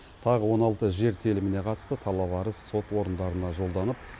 тағы он алты жер теліміне қатысты талап арыз сот орындарына жолданып